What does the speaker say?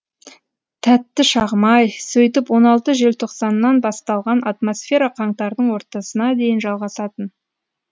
тәтті шағым ай сөйтіп он алты желтоқсаннан басталған атмосфера қаңтардың ортасына дейін жалғасатын